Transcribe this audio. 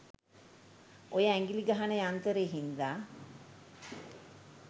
ඔය ඇගිලි ගහන යන්තරේ හින්දා